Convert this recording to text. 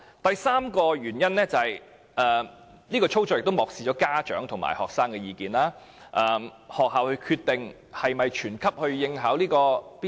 第三，有關的操作亦漠視了家長和學生的意見，因為是由學校決定是否全級學生應考 BCA。